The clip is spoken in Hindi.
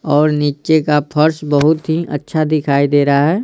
और नीचे का फर्श बहुत ही अच्छा दिखाई दे रहा है।